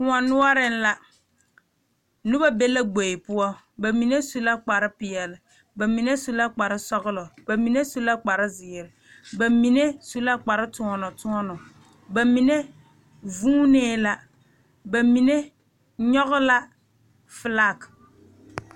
Kóɔ noɔreŋ la noba be la gbori poɔ ba mine su la kpar peɛle ba mine su la kpar sɔgelɔ mine su la kpar zeere ba mine su la kpar toɔnɔ toɔnɔ ba mine vuunee la ba mine nyɔge la felaa